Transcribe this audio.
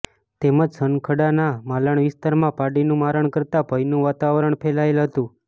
તેમજ સનખડાના માલણ વિસ્તારમાં પાડીનું મારણ કરતા ભયનું વાતાવરણ ફેલાયેલ હતું